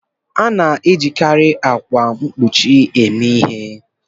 A na-ejikarị akwa mkpuchi eme ihe.